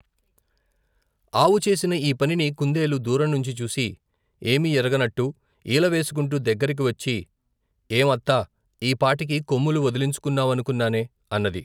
ఆవు చేసిన ఈ పనిని కుందేలు దూరం నుంచి చూసి, ఏమీ ఎరగనట్టు ఈలవేసుకుంటూ దగ్గిరికివచ్చి, ఏం, అత్తా? ఈ పాటికి కొమ్ములు వదిలించుకున్నావనుకున్నానే ! అన్నది.